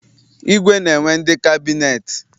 Igwe na-enwe ndị kabịneetị.